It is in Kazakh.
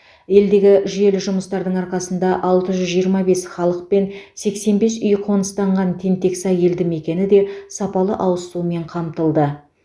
елдегі жүйелі жұмыстардың арқасында алты жүз жиырма бес халық пен сексен бес үй қоныстанған тентексай елді мекені де сапалы ауызсумен қамтылды